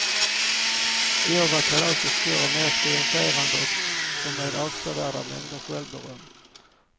I år var kalaset större, mer triumferande och med avsevärda mängder självberöm.